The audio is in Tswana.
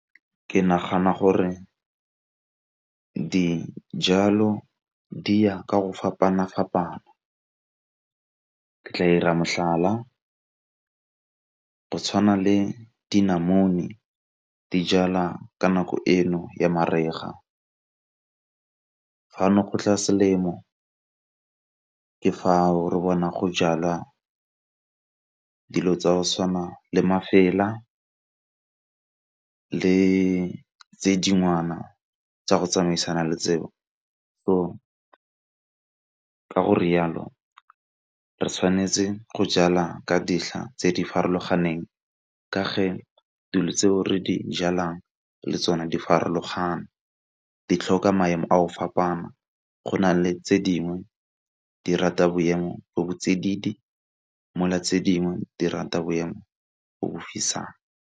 Ke nagana gore dijalo di ya ka go fapana-fapana ke tla 'ira mohlala go tshwana le dinamune di jalwa ka nako eno ya mariga, fa no go tla selemo ke fa o re bona go jalwa dilo tsa go tshwana le le tse tsa go tsamaisana le tseo. So ka go rialo re tshwanetse go jala ka dintlha tse di farologaneng ka fa dilo tse re di jalang le tsone di farologana ke tlhoka maemo a o fapana go na le tse dingwe di rata boemo bo bo tsididi mo le tse dingwe di rata boemo bo bo fisang.